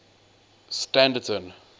standerton